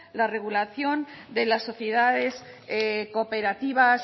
la regulación de las sociedades cooperativas